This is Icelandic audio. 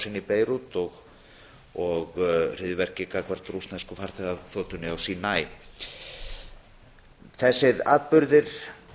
sprengjuárásin í beirút og hryðjuverkin gagnvart rússnesku farþegaþotunni á sínaí þessir atburðir